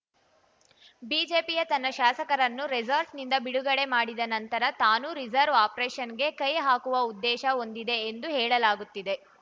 ಬಿಜೆಪಿಯು ತನ್ನ ಶಾಸಕರನ್ನು ರೆಸಾರ್ಟ್‌ನಿಂದ ಬಿಡುಗಡೆ ಮಾಡಿದ ನಂತರ ತಾನೂ ರಿವರ್ಸ್‌ ಆಪರೇಷನ್‌ಗೆ ಕೈಹಾಕುವ ಉದ್ದೇಶ ಹೊಂದಿದೆ ಎಂದು ಹೇಳಲಾಗುತ್ತಿದೆ